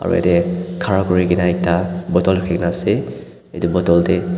aro yatae khara kurikaena ekta bottle rakhikaena ase edu bottle tae --